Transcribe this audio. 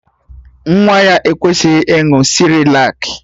Nwa ya ekweghị ịṅụ sịrịlak